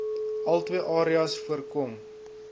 altwee areas voorkom